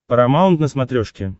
парамаунт на смотрешке